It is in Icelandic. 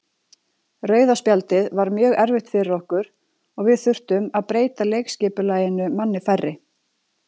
Rauða spjaldið var mjög erfitt fyrir okkur og við þurftum að breyta leikskipulaginu manni færri.